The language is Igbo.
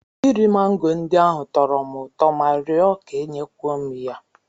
Iri mango ndị ahụ tọrọ m ụtọ ma rịọ ka e nye kwuo m ya.